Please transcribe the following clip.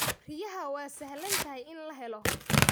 Riyaha waa sahlan tahay in la helo.